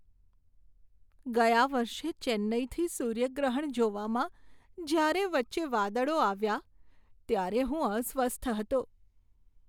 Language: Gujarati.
ગયા વર્ષે ચેન્નાઈથી સૂર્યગ્રહણ જોવામાં જ્યારે વચ્ચે વાદળો આવ્યા ત્યારે હું અસ્વસ્થ હતો.